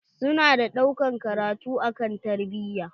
Su na ɗaukan karatu akan tarbiya.